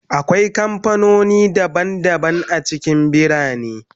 Akwai kamfanoni daban-daban a cikin birane